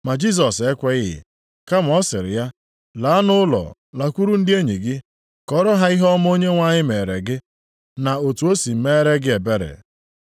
Ma Jisọs ekweghị, kama ọ sịrị ya, “Laa nʼụlọ, lakwuru ndị enyi gị, kọọrọ ha ihe ọma Onyenwe anyị meere gị, na otu o si meere gị ebere.”